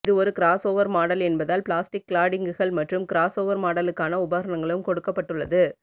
இது ஒரு crossover model என்பதால் பிளாஸ்டிக் க்லாடிங்குகள் மற்றும் கிராஸ் ஓவர் மாடலுக்கன உபகரணங்களும் கொடுக்கப்பட்டுள்ளது